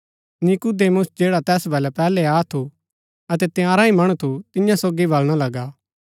नीकुदेमुस जैडा तैस वलै पैहलै आ थू अतै तंयारा ही मणु थू तियां सोगी वलणा लगा